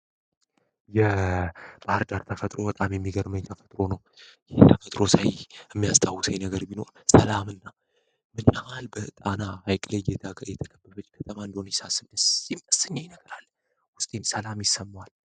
የባህር ዳር ተፈጥሮ በጣም የሚገርመኝ ተፈጥሮ ነው በባህር ዳር ውስጥ የሚያስታውሰኝ ነገር ቢኖር ሰላምን እና በጣም ሐይቅ ላይ ስንሄድ ሰላም ይሰማል።